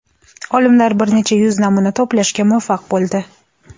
Olimlar bir necha yuz namuna to‘plashga muvaffaq bo‘ldi.